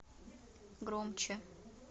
громче